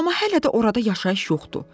Amma hələ də orada yaşayış yoxdur.